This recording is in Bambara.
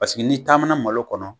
Paseke n'i taamana malo kɔnɔ,